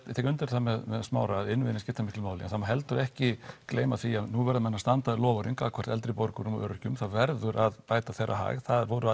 tek undir þetta með Smára að innviðirnir skipta miklu máli en það má heldur ekki gleyma því að nú verða menn að standa við loforðin gagnvart eldri borgurum og öryrkjum það verður að bæta þeirra hag það voru